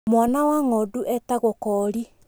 Mwana wa ng'ondu etagwo koori.